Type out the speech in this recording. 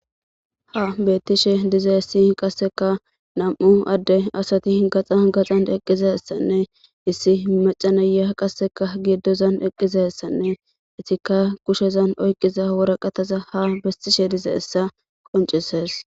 ha beettishe dizaya qasseka nam7u adde asati gaxa gaxan eqqizessanne issi maca nayiya qasseka giidozan eqqizessanne etikka kushezan oyqiza wora qataza ha bestishe diza essa qoncisees